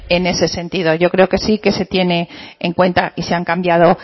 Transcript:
en ese sentido yo creo que sí se tiene en cuenta que se han cambiado